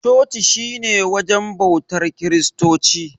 Coci shi ne wajen bautar kiristoci.